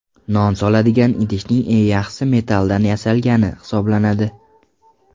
Non soladigan idishning eng yaxshisi metalldan yasalgani hisoblanadi.